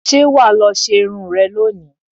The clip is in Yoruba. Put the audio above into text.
Ṣé wà á lọ ṣe irun rẹ lónìí?